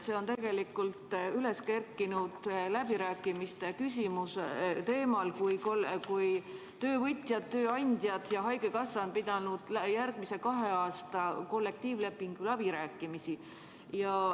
See on tegelikult üles kerkinud läbirääkimistel, kui töövõtjad, tööandjad ja haigekassa pidasid järgmise kahe aasta kollektiivlepingu läbirääkimisi.